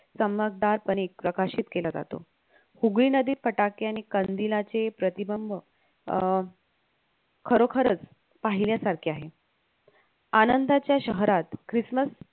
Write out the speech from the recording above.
चमकदार पणे प्रकाशित केला जातो हुगळी नदी फटाके आणि कंदीलाचे प्रतिबंब अं खरोखरच पाहिल्यासारखे आहे. आनंदाच्या शहरात Christmas